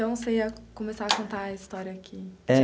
Então, você ia começar a contar a história que